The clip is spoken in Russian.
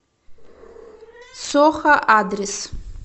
сохо адрес